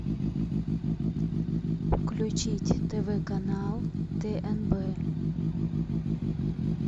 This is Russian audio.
включить тв канал тнб